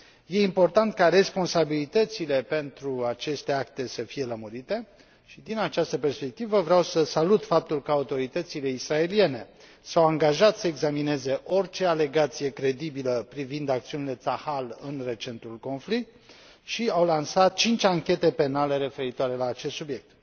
Este important ca responsabilitățile pentru aceste acte să fie lămurite și, din această perspectivă, vreau să salut faptul că autoritățile israeliene s au angajat să examineze orice alegație credibilă privind acțiunile Tzahal în recentul conflict și au lansat cinci anchete penale referitoare la acest subiect.